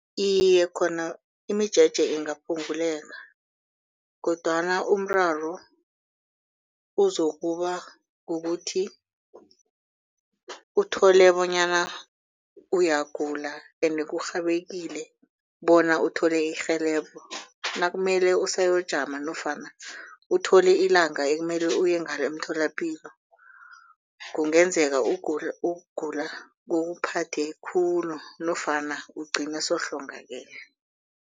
Iye, khona imijeje ingaphunguleka kodwana umraro uzokuba kukuthi uthole bonyana uyagula ende kurhabekile bona uthole irhelebho nakumele usayokujama nofana uthole ilanga ekumele uye ngalo emtholapilo. Kungenzeka ukugula kokuphathe khulu nofana ugcine sewuhlongakele.